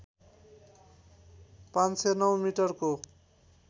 ५०९ मिटरको